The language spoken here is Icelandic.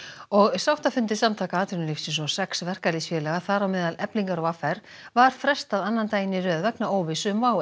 sáttafundi Samtaka atvinnulífsins og sex verkalýðsfélaga þar á meðal Eflingar og v r var frestað annan daginn í röð vegna óvissu um WOW